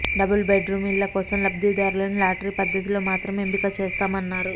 double bedroom ఇళ్ల కోసం లబ్ధిదారులను లాటరీ పద్ధతిలో మాత్రమే ఎంపిక చేస్తామన్నారు